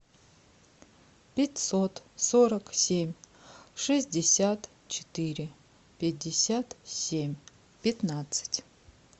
пятьсот сорок семь шестьдесят четыре пятьдесят семь пятнадцать